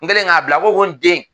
N kɛlen k'a bila a ko ko n den